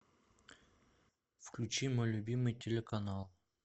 включи мой любимый телеканал